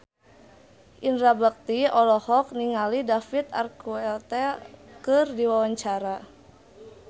Indra Bekti olohok ningali David Archuletta keur diwawancara